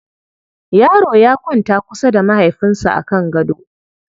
Yaro ya kwanta kusa da mahaifinsa a kan gaɗo.